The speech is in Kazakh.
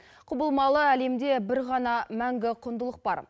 құбылмалы әлемде бір ғана мәңгі құндылық бар